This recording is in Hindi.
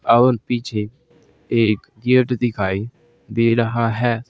और पीछे एक गेट दिखाई दे रहा है।